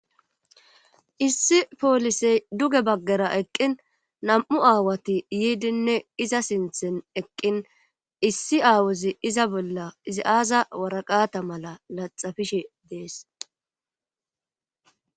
issi poolisey duge baggera eqqin nam'u aawati yiidinne iza sinthen eqqin issi aawozi iza bolla izi aaza waraqata mala laxafishe dees